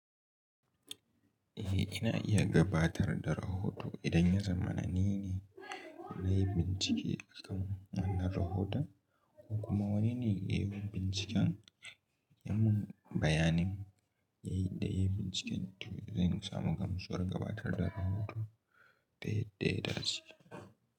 Eh, ina iya gabatar da rahoto idan yanza ma nine na yi bincike a kan wannan rahoton ko kuma wani ne ya yi binciken. Yan mun bayanin da ya yi binciken, zai samu gamsuwar gabatar da rahoto ta yadda ya dace.